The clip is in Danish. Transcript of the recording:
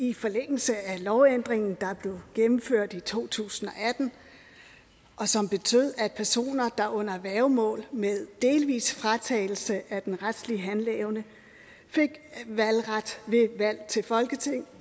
i forlængelse af lovændringen der blev gennemført i to tusind og atten og som betød at personer der er under værgemål med delvis fratagelse af den retlige handleevne fik valgret ved valg til folketinget